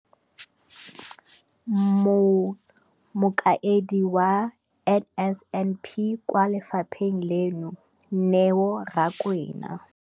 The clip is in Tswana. Mokaedi wa NSNP kwa lefapheng leno, Neo Rakwena,